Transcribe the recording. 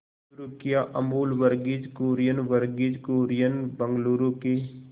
शुरू किया अमूल वर्गीज कुरियन वर्गीज कुरियन बंगलूरू के